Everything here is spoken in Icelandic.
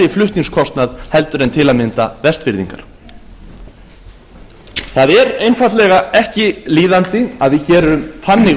flutningskostnað heldur en til að mynda vestfirðingar það er einfaldlega ekki líðandi að við gerum þannig